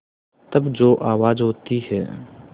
तब जो आवाज़ होती है